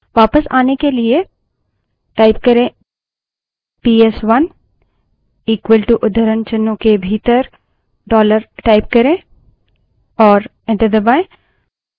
वापस आने के लिए पीएसवन इक्वलto उद्धरणचिन्हों के भीतर dollar type करें और enter दबायें